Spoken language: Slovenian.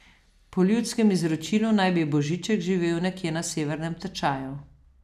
Po ljudskem izročilu naj bi Božiček živel nekje na Severnem tečaju.